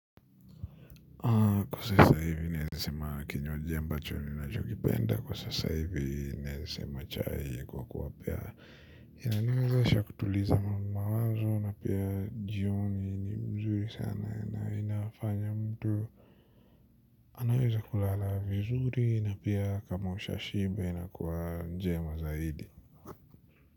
Kwa sasa hivi naeza sema kinywaji ambacho c nacho kipenda kwa sasa hivi naeza sema chai kwa kuwa pia inaniwezesha kutuliza mawazo na pia jioni ni mzuri sana na inafanya mtu anaweza kulala vizuri na pia kama usha shimba inakuwa njema zaidi.